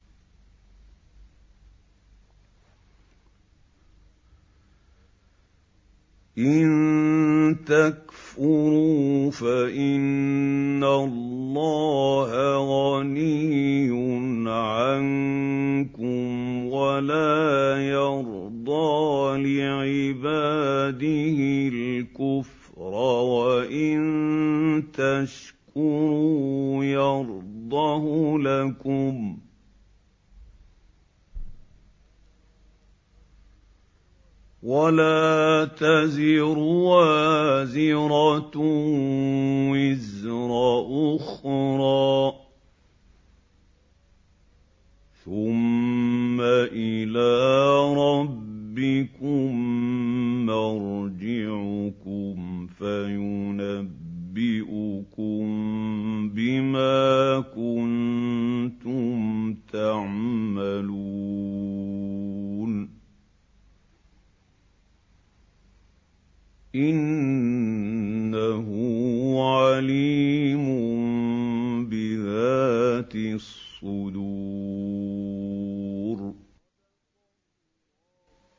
إِن تَكْفُرُوا فَإِنَّ اللَّهَ غَنِيٌّ عَنكُمْ ۖ وَلَا يَرْضَىٰ لِعِبَادِهِ الْكُفْرَ ۖ وَإِن تَشْكُرُوا يَرْضَهُ لَكُمْ ۗ وَلَا تَزِرُ وَازِرَةٌ وِزْرَ أُخْرَىٰ ۗ ثُمَّ إِلَىٰ رَبِّكُم مَّرْجِعُكُمْ فَيُنَبِّئُكُم بِمَا كُنتُمْ تَعْمَلُونَ ۚ إِنَّهُ عَلِيمٌ بِذَاتِ الصُّدُورِ